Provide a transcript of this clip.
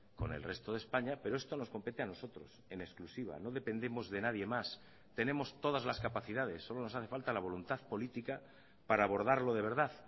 con el resto de españa pero esto nos compete a nosotros en exclusiva no dependemos de nadie más tenemos todas las capacidades solo nos hace falta la voluntad política para abordarlo de verdad